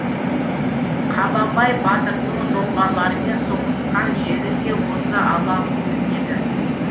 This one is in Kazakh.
қабанбай батырдың жоңғарлармен соғысқан жері де осы алаң көрінеді